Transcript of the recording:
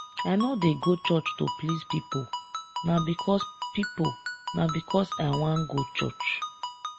i no dey go church to please pipo na because pipo na because i wan go church.